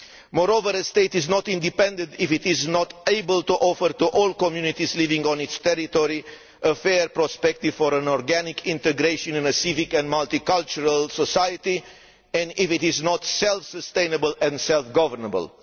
Moreover, a state is not independent if it is not able to offer to all communities living on its territory a fair prospect of organic integration into a civic and multicultural society, and if it is not self sustainable and self governable.